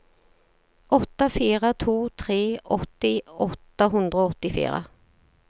åtte fire to tre åtti åtte hundre og åttifire